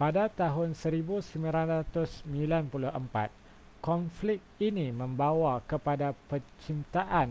pada tahun 1994 konflik ini membwa kepada penciptaan